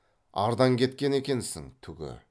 ардан кеткен екенсін түгі